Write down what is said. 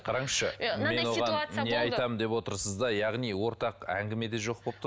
қараңызшы мен оған не айтамын деп отырсыз да яғни ортақ әңгіме де жоқ болып тұр